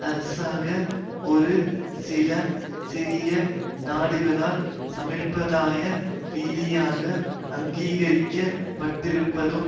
அரைஅரசாக ஒரு சில சிறிய நாடுகளால் சம்பிரதாய ரீதியாக அங்கீகரிக்க பட்டிருப்பதும்